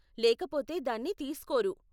లేకపోతే దాన్ని తీస్కోరు.